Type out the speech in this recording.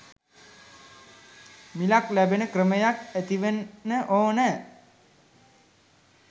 මිලක් ලැබෙන ක්‍රමයක් ඇතිවන්න ඕන.